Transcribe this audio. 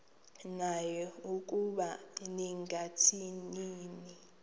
naye ukuba ningathini